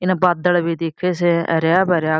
इन बदल भी दिखे से हराभरा --